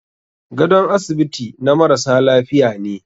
Gadon asibiti na marasa lafiya ne.